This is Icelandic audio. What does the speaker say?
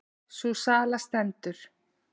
Sú sala stendur.